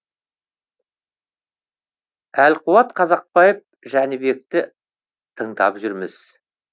әлқуат қазақбаев жәнібекті тыңдап жүрміз